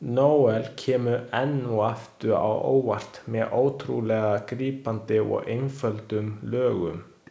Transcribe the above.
Noel kemur enn og aftur á óvart með ótrúlega grípandi og einföldum lögum.